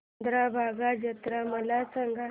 चंद्रभागा जत्रा मला सांग